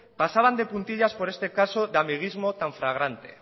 pasaban de puntillas por este caso de amiguismo tan fragante